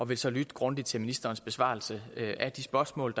vil så lytte grundigt til ministerens besvarelse af de spørgsmål